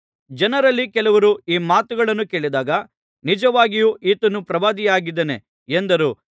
ಜನರಲ್ಲಿ ಕೆಲವರು ಆ ಮಾತುಗಳನ್ನು ಕೇಳಿದಾಗ ನಿಜವಾಗಿಯೂ ಈತನು ಪ್ರವಾದಿಯಾಗಿದ್ದಾನೆ ಎಂದರು